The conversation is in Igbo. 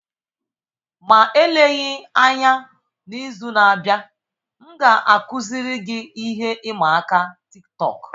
Ma eleghị anya, n'izu na-abịa, m ga-akụziri gị ihe ịma aka Tiktọk.